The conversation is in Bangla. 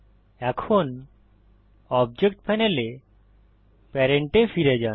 এখন অবজেক্ট প্যানেলে প্যারেন্ট এ ফিরে যান